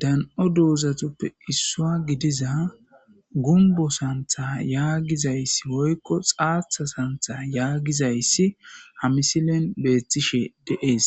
Dan'o doozatuppe issua gidiza gumbo santha yaagizayssi woykko xaatha santha yaagizayssi hamisilen beetishe deees